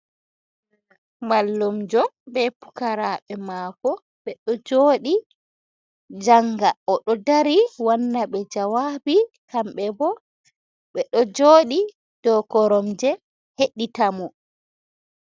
Mallumjo ɓe pukaraɓe mako be joɗi janga odo ɗari wanna be jawabi kamɓe bo ɓe do joɗi ɗuo koromje heɗita mo.